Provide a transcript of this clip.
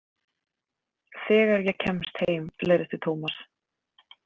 Þegar ég kemst heim leiðrétti Thomas.